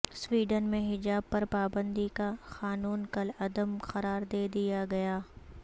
Sweden میں حجاب پر پابندی کا قانون کالعدم قرار دے دیا گیا